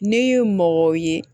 Ne ye mɔgɔ ye